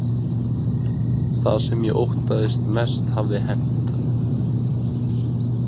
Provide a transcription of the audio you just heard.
Það sem ég óttaðist mest hafði hent.